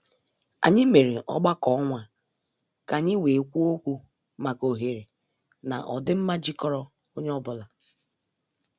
Anyị mere ọgbakọ ọnwa ka anyị wee kwuo okwu maka oghere na ọdịmma jikọrọ onye ọ bụla.